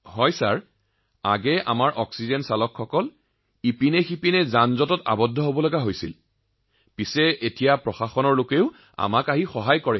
হয় মহোদয় আগতে আমি যিকোনো ঠাইতে জামত আবদ্ধ হৈ পৰিছিলো কিন্তু আজিৰ তাৰিখত প্ৰশাসনেও আমাৰ লোকসকলক যথেষ্ট সহায় কৰে